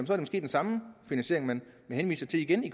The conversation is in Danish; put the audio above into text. er den samme finansiering man henviser til igen i